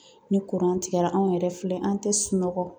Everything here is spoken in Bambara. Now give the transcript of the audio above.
Ni kuran tigɛra anw yɛrɛ filɛ an tɛ sunɔgɔ